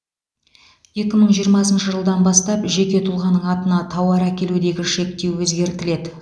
екі мың жиырмасыншы жылдан бастап жеке тұлғаның атына тауар әкелудегі шектеу өзгертіледі